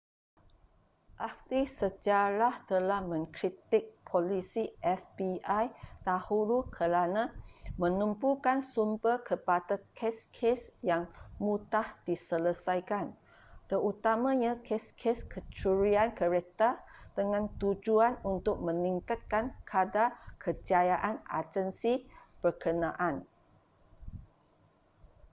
ahli sejarah telah mengkritik polisi fbi dahulu kerana menumpukan sumber kepada kes-kes yang mudah diselesaikan terutamanya kes-kes kecurian kereta dengan tujuan untuk meningkatkan kadar kejayaan agensi berkenaan